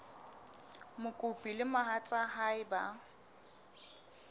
mokopi le mohatsa hae ba